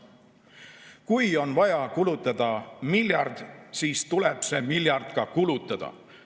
Kui on vaja kulutada miljard, siis tuleb see miljard ka kulutada.